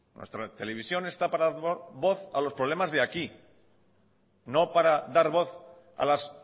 nuestra televisión está para dar voz a los problemas de aquí no para dar voz a las